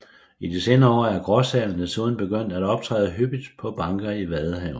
I de senere år er gråsælen desuden begyndt at optræde hyppigt på banker i Vadehavet